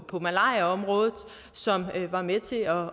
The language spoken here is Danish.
på malariaområdet som var med til at